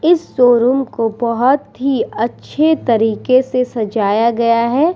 इस शोरूम को बहुत ही अच्छे तरीके से सजाया गया है ।